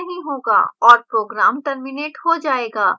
और program terminated हो जायेगा